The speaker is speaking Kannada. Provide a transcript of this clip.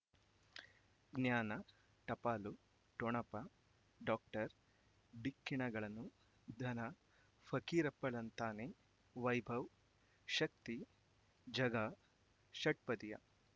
ಜ್ಞಾನ ಟಪಾಲು ಠೊಣಪ ಡಾಕ್ಟರ್ ಢಿಕ್ಕಿ ಣಗಳನು ಧನ ಫಕೀರಪ್ಪ ಳಂತಾನೆ ವೈಭವ್ ಶಕ್ತಿ ಝಗಾ ಷಟ್ಪದಿಯ